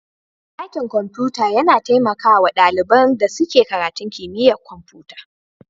Dakin kwamfuta yana taimaka wa ɗalibin da suke karatun kimiyyar kwamfuta.